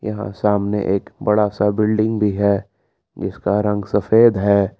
अ सामने एक बड़ा सा बिल्डिंग भी है जिसका रंग सफेद है।